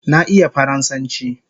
Na iya faransanchi